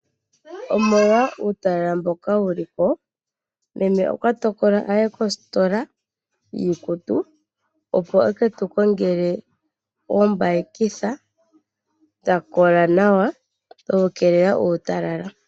Omolwa uutala mboka wuli ko, meme okwa tokola aye kositola yii kutu opo eke tukongele oombayikitha dha kola nawa dhoku keelela uutala.